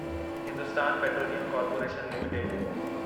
Hindustan petroleum corporation limited